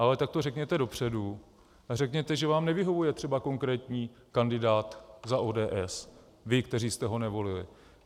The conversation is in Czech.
Ale tak to řekněte dopředu a řekněte, že vám nevyhovuje třeba konkrétní kandidát za ODS, vy, kteří jste ho nevolili.